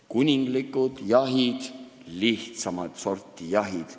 Kuninglikud jahid ja lihtsamat sorti jahid.